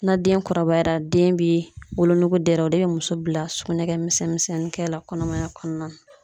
Na den kɔrɔbayara den bɛ wolonogo dɛrɛ o de bɛ muso bila sugunɛ kɛ misɛnnin minsɛnnin kɛ la kɔnɔmaya kɔnɔna na .